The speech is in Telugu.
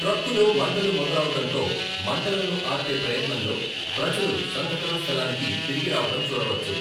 ట్రక్కులో మంటలు మొదలవడంతో, మంటలను ఆర్పే ప్రయత్నంలో ప్రజలు సంఘటన స్థలానికి తిరిగి రావడం చూడవచ్చు.